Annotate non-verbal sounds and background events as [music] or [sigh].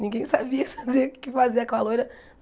Ninguém sabia [laughs] o que fazia o que fazer com a loira.